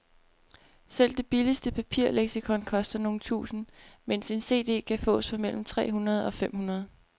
Selv det billigste papirleksikon koster nogle tusinde, mens en cd kan fås for mellem tre hundrede og fem hundrede.